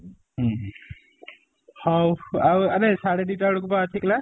ହୁଁ ହୁଁ ହଉ ଆଉ ଆରେ ସାଢେ ଦି ଟା ବେଳକୁ ବା ଅଛି class